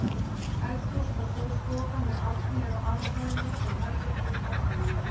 Eldhús og stór stofa með arni eru á aðalhæðinni en herbergin í kjallaranum.